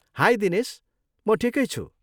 High Dinesh! म ठिकै छु।